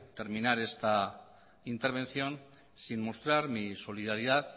terminar esta intervención sin mostrar mi solidaridad